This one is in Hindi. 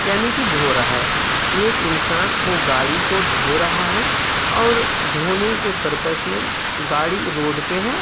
यानि कि धो रहा है। एक इंसान वो गाड़ी को धो रहा है और धोने के पर्पज में गाड़ी रोड पे है।